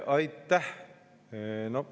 Aitäh!